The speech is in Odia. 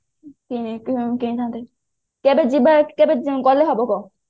କିଣି ଥାନ୍ତେ କେବେ ଯିବା କେବେ ଗଲେ ହବ କହ